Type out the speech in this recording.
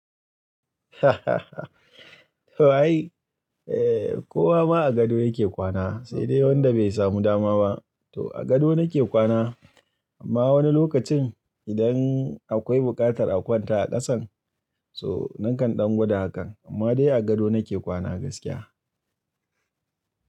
To ai. A kowa ma a gado ya ke kwana, sai dai wanda bai samu dama ba. To a gado na ke kwana, amma wani lokacin idan akwai buƙatar a kwanta a ƙasan, so nakan ɗan gwada hakan. Amma dai a gado nake kwana gaskiya.